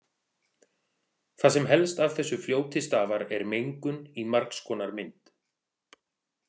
Það sem helst af þessu fljóti stafar er mengun í margs konar mynd.